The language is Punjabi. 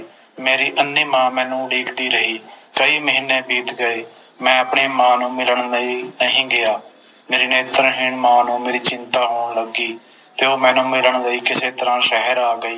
ਮੇਰੀ ਅੰਨ੍ਹੀ ਮਾਂ ਮੈਨੂੰ ਉਡੀਕਦੀ ਰਹੀ ਕਈ ਮਹੀਨੇ ਬੀਤ ਗਏ ਮੈਂ ਆਪਣੀ ਮਾਂ ਨੂੰ ਮਿਲਣ ਲਈ ਨਹੀਂ ਗਿਆ ਮੇਰੀ ਨੇਤਰਹੀਣ ਮਾਂ ਨੂੰ ਮੇਰੀ ਚਿੰਤਾ ਹੋਣ ਲੱਗੀ ਤੇ ਉਹ ਮੈਨੂੰ ਮਿਲਣ ਲਈ ਕਿਸੇ ਤਰ੍ਹਾਂ ਸ਼ਹਿਰ ਆ ਗਈ